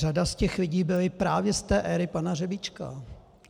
Řada z těch lidí byli právě z té éry pana Řebíčka.